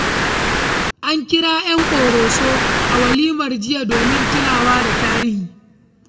An kira ƴan ƙoroso a walimar jiya domin tunawa da tarihi.